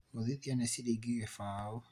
gũthiĩthĩa nĩ ciringi gĩbao